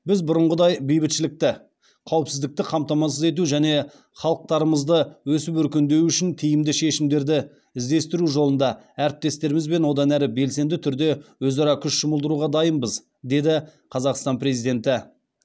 біз бұрынғыдай бейбітшілікті қауіпсіздікті қамтамасыз ету және халықтарымызды өсіп өркендеуі үшін тиімді шешімдерді іздестіру жолында әріптестерімізбен одан әрі белсенді түрде өзара күш жұмылдыруға дайынбыз деді қазақстан президенті